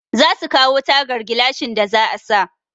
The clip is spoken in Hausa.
Za su kawo tagar gilashin da za a sa.